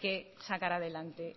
que sacar adelante